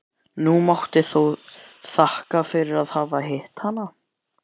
Hún mátti þó þakka fyrir að hafa hitt hana.